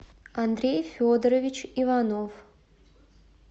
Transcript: андрей федорович иванов